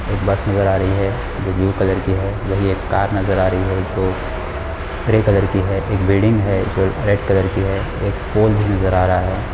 एक बस नजर आ रही है जो ब्लू कलर की है वहीँ एक कार नजर आ रही है जो ग्रे कलर की है एक बिल्डिंग है जो रेड कलर की है एक पोल भी नजर आ रहा है।